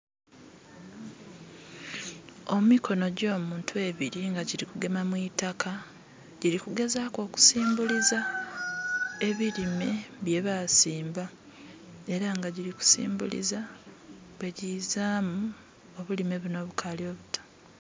Emikono gyo muntu ebiri nga giri kugema mwitaaka, giri kugezaku okusimbuliza ebirime bye basimba, era nga giri kusimbuliza bwe dhizaamu obulime buno obukali obuto.